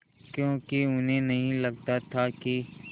क्योंकि उन्हें नहीं लगता था कि